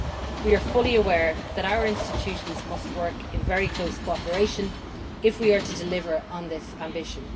We are fully aware that our institutions must work in very close cooperation if we are to deliver on this ambition.